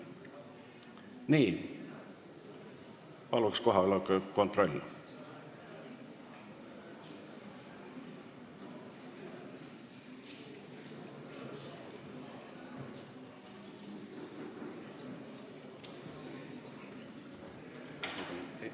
Nüüd aga palun kohaloleku kontroll!